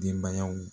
Denbayaw